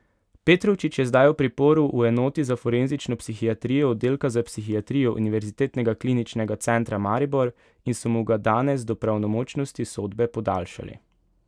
Petrovčič je zdaj v priporu v enoti za forenzično psihiatrijo oddelka za psihiatrijo Univerzitetnega kliničnega centra Maribor, in so mu ga danes do pravnomočnosti sodbe podaljšali.